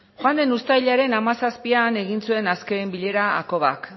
joan den uztailaren hamazazpian egin zuen azken bilera hakobak